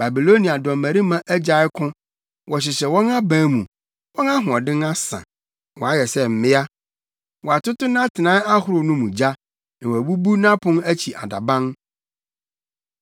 Babilonia dɔmmarima agyae ko wɔhyehyɛ wɔn aban mu. Wɔn ahoɔden asa; wɔayɛ sɛ mmea. Wɔatoto nʼatenae ahorow no mu gya, na wɔabubu nʼapon akyi adaban.